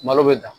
Malo bɛ dan